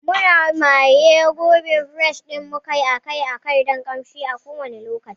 Muna maye gurbin freshner ɗin mu akai-akai don ƙamshi a kowanne lokaci.